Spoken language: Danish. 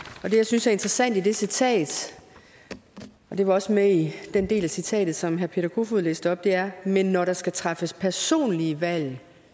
og det jeg synes er interessant i det citat og det var også med i den del af citatet som herre peter kofod læste op er men når der skal træffes personlige valg